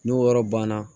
N'o yɔrɔ banna